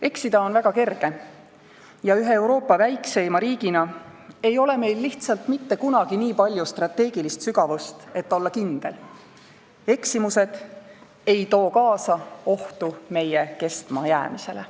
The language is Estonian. Eksida on kerge ja ühe Euroopa väikseima riigina ei ole meil lihtsalt mitte kunagi nii palju strateegilist sügavust, et olla kindel: eksimused ei too kaasa ohtu meie kestmajäämisele.